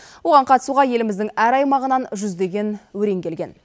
оған қатысуға еліміздің әр аймағынан жүздеген өрен келген